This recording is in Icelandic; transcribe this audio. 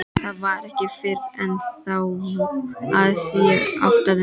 Það var ekki fyrr en þá að ég áttaði mig.